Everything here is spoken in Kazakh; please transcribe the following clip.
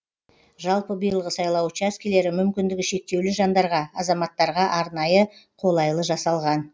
жалпы биылғы сайлау учаскелері мүмкіндігі шектеулі жандарға азаматтарға арнайы қолайлы жасалған